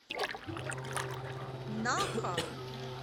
наха